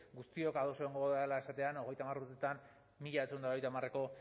guztiok ados egongo garela esatean hogeita hamar urteetan mila bederatziehun eta laurogeita hamareko